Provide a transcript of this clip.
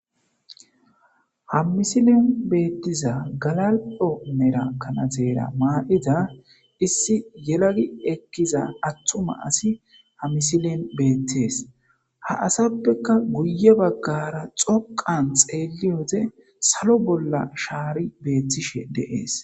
Ha misilen betiza galal'o mala kanatere mayiza issi yelagi ekiza atuma asi hamutizay ha misilen betes ha asapeka guye bagara dhoqan xeliyode salo bolla shari betishe de'es